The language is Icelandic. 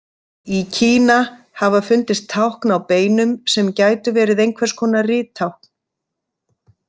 Í Kína hafa fundist tákn á beinum sem gætu verið einhvers konar rittákn.